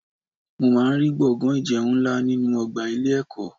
Mo máa ń rí gbọ̀ngán ìjẹun nlá ninu ọgbà ilé ẹ̀kọ́.